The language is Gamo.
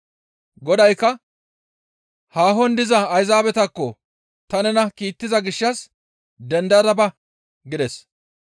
Godaykka, ‹Haahon diza Ayzaabetakko ta nena kiittiza gishshas dendada ba!› » gides.